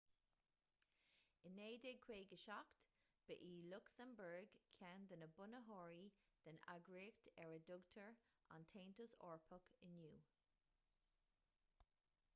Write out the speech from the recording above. in 1957 ba í lucsamburg ceann de na bunaitheoirí den eagraíocht ar a dtugtar an taontas eorpach inniu